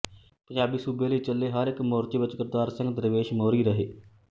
ਪੰਜਾਬੀ ਸੂਬੇ ਲਈ ਚੱਲੇ ਹਰ ਇੱਕ ਮੋਰਚੇ ਵਿੱਚ ਕਰਤਾਰ ਸਿੰਘ ਦਰਵੇਸ਼ ਮੋਹਰੀ ਰਹੇ